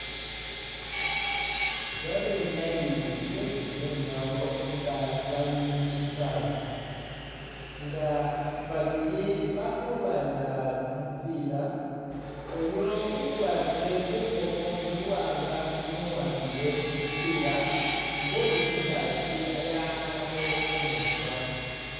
Babenyayi bekumwinyawo nga bali mushisawe nga babili bali khulwanila kumupila oyo ukwarile mukhomo buwanga niyo uwambile kumupila nga uli khungaakyi khakhakakho khumurusakho